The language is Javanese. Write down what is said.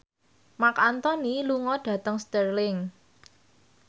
Marc Anthony lunga dhateng Stirling